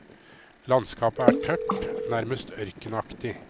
Landskapet er tørt, nærmest ørkenaktig.